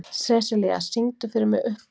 Sessilía, syngdu fyrir mig „Uppboð“.